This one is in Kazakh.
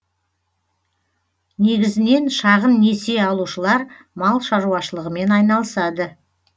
негізінен шағын несие алушылар мал шаруашылығымен айналысады